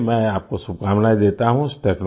चलिए मैं आपको शुभकामनाएँ देता हूँ